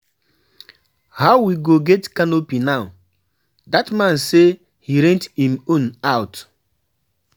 How we go get canopy now? Dat man say he rent im own out.